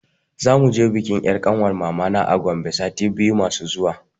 Za muje bikin 'yar kanwar mamana a Gombe sati biyu masu zuwa.